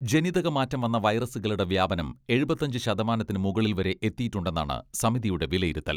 ജനിതക മാറ്റം വന്ന വൈറസുകളുടെ വ്യാപനം എഴുപത്തിയഞ്ച് ശതമാനത്തിന് മുകളിൽ വരെ എത്തിയിട്ടുണ്ടെന്നാണ് സമിതിയുടെ വിലയിരുത്തൽ.